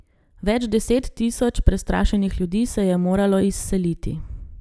Več deset tisoč prestrašenih ljudi se je moralo izseliti.